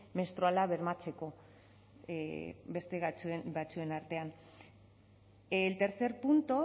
menstruala bermatzeko beste batzuen artean el tercer punto